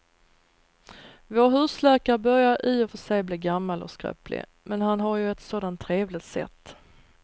Vår husläkare börjar i och för sig bli gammal och skröplig, men han har ju ett sådant trevligt sätt!